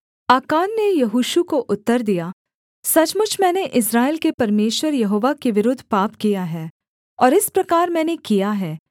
आकान ने यहोशू को उत्तर दिया सचमुच मैंने इस्राएल के परमेश्वर यहोवा के विरुद्ध पाप किया है और इस प्रकार मैंने किया है